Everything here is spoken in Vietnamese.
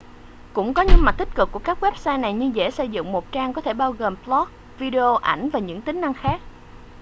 cũng có những mặt tích cực của các website này như dễ xây dựng một trang có thể bao gồm blog video ảnh và những tính năng khác